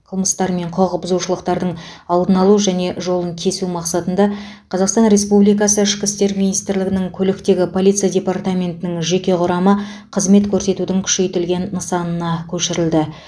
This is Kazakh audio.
қылмыстар мен құқық бұзушылықтардың алдын алу және жолын кесу мақсатында қазақстан республикасы ішкі істер министрлігінің көліктегі полиция департаментінің жеке құрамы қызмет көрсетудің күшейтілген нысанына көшірілді